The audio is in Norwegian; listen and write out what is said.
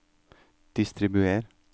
distribuer